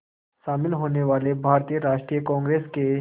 शामिल होने वाले भारतीय राष्ट्रीय कांग्रेस के